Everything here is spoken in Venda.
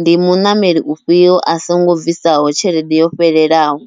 ndi muṋameli ufhio a songo bvisaho tshelede yo fhelelaho.